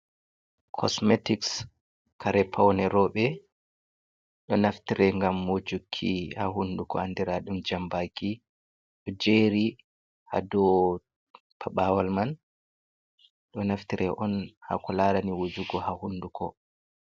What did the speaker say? Kosmetics kare faune roɓe, ɗo naftire ngam wujeki ha hunduko andiraɗum jambaki, ɗo jeri ha dow paɓawal man ɗo naftire on ha kolarene wujugo ha hunduko.